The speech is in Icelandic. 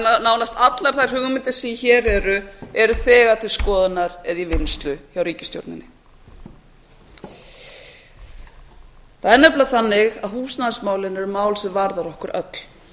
að nánast allar þær hugmyndir sem hér eru eru þegar til skoðunar eða í vinnslu hjá ríkisstjórninni það er nefnilega þannig að húsnæðismálin eru mál sem varða okkur öll